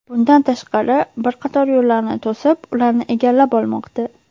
Bundan tashqari, bir qator yo‘llarni to‘sib, ularni egallab olmoqda.